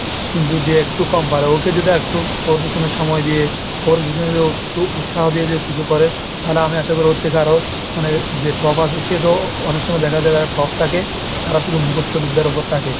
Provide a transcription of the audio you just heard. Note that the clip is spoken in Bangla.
কিন্তু যে একটু কম পারে ওকে যদি আরেকটু ওর পেছনে সময় দিয়ে ওর পিছনে যে ও একটু উৎসাহ দিয়ে যে ও কিছু করে, তাহলে আমি আশা করি ওর থেকে আরো মানে যে top আছে সে তো অনেক সময় দেখা যায়, যারা top থাকে শুধু মুখস্ত বিদ্যার ওপর থাকে।